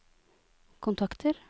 kontakter